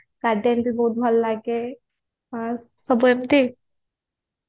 garden ବି ବହୁତ ଭଲ ଲାଗେ ହଁ ସବୁ ଏମିତି